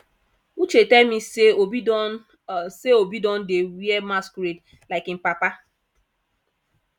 uche tell me say obi don say obi don dey wear masquerade like im papa